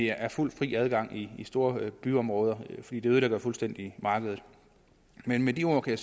er fuld og fri adgang i store byområder fordi det ødelægger markedet fuldstændig men med de ord kan